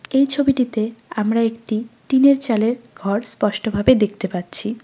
এই ছবিটিতে আমরা একটি টিনের চালের ঘর স্পষ্টভাবে দেখতে পাচ্ছি।